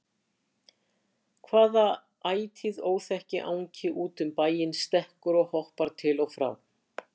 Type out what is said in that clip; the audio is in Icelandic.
Hvaða ætíð óþekki angi út um bæinn stekkur og hoppar til og frá?